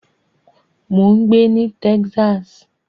Mò ń gbé ní Texas.